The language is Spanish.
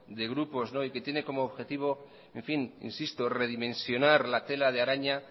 de grupos y que tiene como objetivo redimensionar la tela de araña